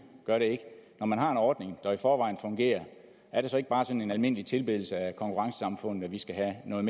gør det ikke når man har en ordning der i forvejen fungerer er det så ikke bare sådan en almindelig tilbedelse af konkurrencesamfundet at vi skal have noget